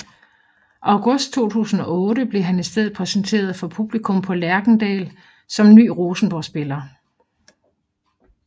August 2008 blev han i stedet præsenteret for publikum på Lerkendal som ny Rosenborg spiller